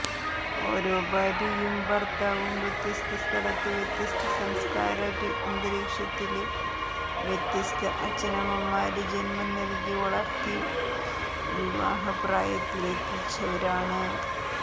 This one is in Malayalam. ഓരോ ഭാര്യയും ഭര്ത്താവും വ്യത്യസ്തസ്ഥലത്ത് വ്യത്യസ്ത സംസ്ക്കാരാന്തരീക്ഷത്തില് വ്യത്യസ്ത അച്ഛനന്മമാര് ജന്മം നല്കി വളര്ത്തി വിവാഹപ്രായത്തിലെത്തിച്ചവരാണ്